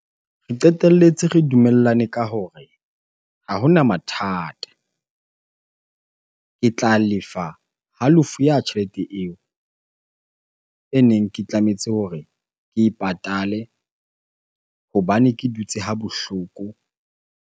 Re qeteletse re dumellane ka hore ha hona mathata. Ke tla lefa halofo ya tjhelete eo e neng ke tlametse hore ke e patale hobane ke dutse ha bohloko.